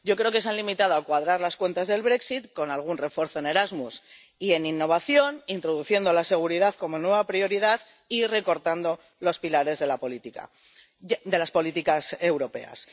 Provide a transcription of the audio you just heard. Yo creo que se han limitado a cuadrar las cuentas del Brexit con algún refuerzo en Erasmus y en innovación, introduciendo la seguridad como nueva prioridad y recortando los pilares de las políticas europeas.